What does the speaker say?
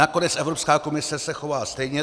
Nakonec Evropská komise se chová stejně.